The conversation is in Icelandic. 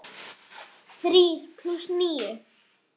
Þrír plús níu.